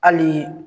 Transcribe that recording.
Hali